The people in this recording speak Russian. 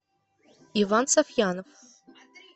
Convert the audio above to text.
иван сафьянов